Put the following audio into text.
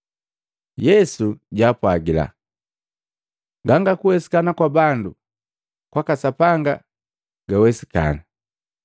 Yesu japwaaga, “Ganga kuwesikana kwa bandu, kwaka Sapanga kiwesikana.”